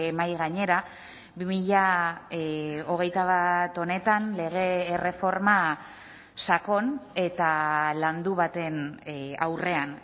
mahai gainera bi mila hogeita bat honetan lege erreforma sakon eta landu baten aurrean